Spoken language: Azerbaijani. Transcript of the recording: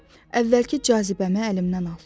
Əvvəlki cazibəmi əlimdən al.